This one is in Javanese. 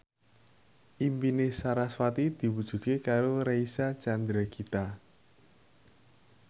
impine sarasvati diwujudke karo Reysa Chandragitta